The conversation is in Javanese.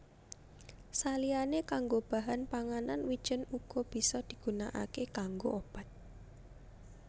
Saliyané kanggo bahan panganan wijèn uga bisa digunakaké kanggo obat